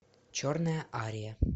черная ария